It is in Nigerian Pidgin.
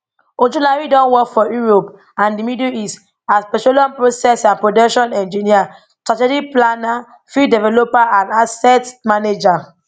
ojulari don work for europe and di middle east as petroleum process and production engineer strategic planner field developer and asset manager